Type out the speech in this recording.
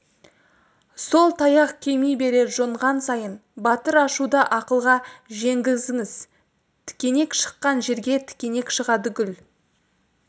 сол таяқ кеми берер жонған сайын батыр ашуды ақылға жеңгізіңіз тікенек шыққан жерге тікенек шығады гүл